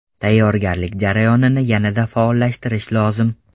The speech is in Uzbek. Tayyorgarlik jarayonini yanada faollashtirish lozim.